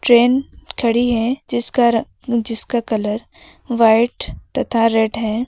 Train खड़ी है जिसका र जिसका कलर व्हाइट तथा रेड है।